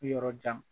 Yɔrɔ jan